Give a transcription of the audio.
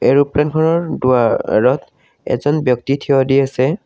এৰোপ্লেনখনৰ দুৱাৰত এজন ব্যক্তি থিয় দি আছে।